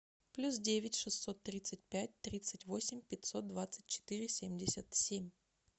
плюс девять шестьсот тридцать пять тридцать восемь пятьсот двадцать четыре семьдесят семь